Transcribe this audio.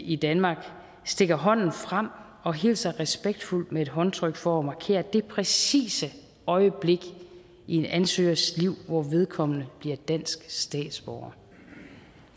i danmark stikker hånden frem og hilser respektfuldt med et håndtryk for at markere det præcise øjeblik i en ansøgers liv hvor vedkommende bliver dansk statsborger